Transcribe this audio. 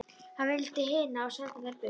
Hann valdi hina og sendi þær burt.